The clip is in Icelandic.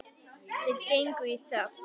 Þeir gengu í þögn.